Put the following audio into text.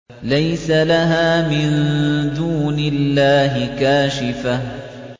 لَيْسَ لَهَا مِن دُونِ اللَّهِ كَاشِفَةٌ